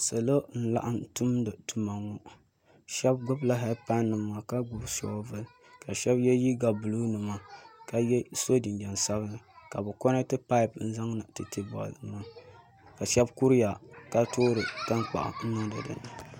bi'puɣinsi n-bɔŋɔ ka bɛ zaa gɔbi chinchina bɛ nyɣu tatariga ka ʒi parantenima ka ŋmana be di puuni tam bɛ zuɣu ni loorinima n-ʒe bɛ luɣili zuɣu ŋɔ mɔri ni doya ŋɔ ka so n-so chinchini mukuru ka ye liiga sabinlli